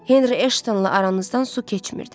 Henry Ashtonla aranızdan su keçmirdi.